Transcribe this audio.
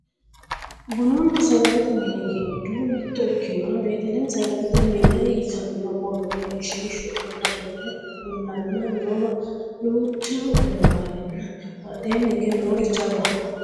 bununna sagalete mini giddo mitto ikinoho batelemi sagalete mine yitanno borro egenshiishshu aana worre kullanna noowa duucha wonabrenna badheenni hige noori jawaho